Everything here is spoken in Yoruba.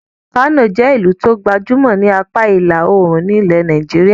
Kano jẹ́ ẹ́ ìlú tó gbajúmọ̀ ni apá ìlà-oòrùn ilẹ̀ Nàìjíríà.